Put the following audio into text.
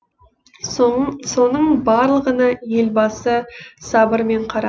соның барлығына елбасы сабырмен қарады